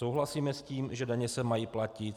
Souhlasíme s tím, že daně se mají platit.